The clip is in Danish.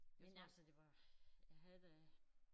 Men altså det var jeg havde da